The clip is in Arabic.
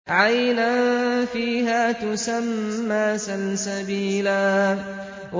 عَيْنًا فِيهَا تُسَمَّىٰ سَلْسَبِيلًا